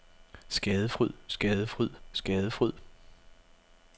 skadefryd skadefryd skadefryd